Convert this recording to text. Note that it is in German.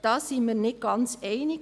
Da waren wir uns nicht ganz einig.